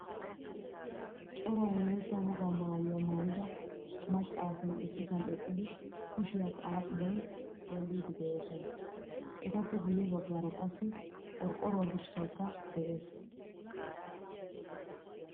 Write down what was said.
Cora wolaytta wogaa maayuwaa maayida macca asay issisan eqqidi kushiya xaaxiday xeellidi deosona. Etappe guye baggaara qassi qorqoruwaa dirssaykka de'ees.